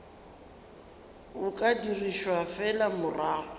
o ka dirišwa fela morago